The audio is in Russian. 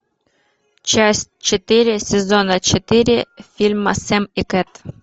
часть четыре сезона четыре фильма сэм и кэт